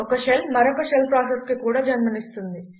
ఒక షెల్ మరొక షెల్ ప్రాసెస్కు కూడా జన్మ నిస్తుంది